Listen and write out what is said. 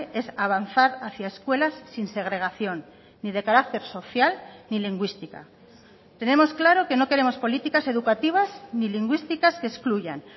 es avanzar hacia escuelas sin segregación ni de carácter social ni lingüística tenemos claro que no queremos políticas educativas ni lingüísticas que excluyan